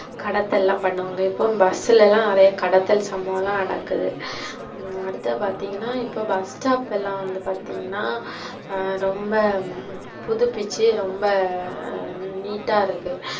கடத்தல்லாம் பண்ணுவாங்க, இப்ப bus லலாம் நிறைய கடத்தல் சம்பவலாம் நடக்குது. அடுத்தது பார்த்திங்கனா இப்ப bus stop எல்லாம் வந்து பார்த்திங்கனா ரொம்ப புதுபிச்சி ரொம்ப neat ஆ இருக்கு.